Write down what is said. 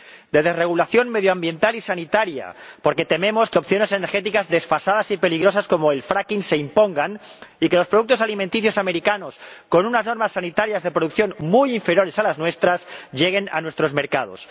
De desregulación medioambiental y sanitaria, porque tememos que opciones energéticas desfasadas y peligrosas como el fracking se impongan y que los productos alimenticios estadounidenses, con unas normas sanitarias de producción muy inferiores a las nuestras, lleguen a nuestros mercados.